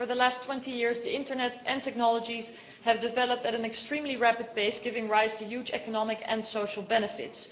Over the last 20 years the internet and technology have developed at an extremely rapid pace, giving rise to huge economic and social benefits.